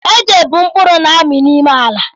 Ede bú mkpụrụ na-amị n'ime ala